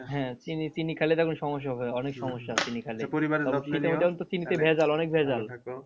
হ্যাঁ চিনি চিনি খাইলে তো এখন সমস্যা হবে অনেক সমস্যা চিনি খাইলে